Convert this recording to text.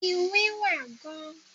iwin wa gan